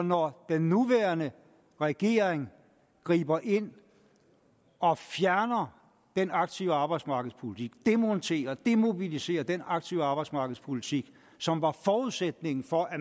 når den nuværende regering griber ind og fjerner den aktive arbejdsmarkedspolitik demonterer og demobiliserer den aktive arbejdsmarkedspolitik som var forudsætningen for at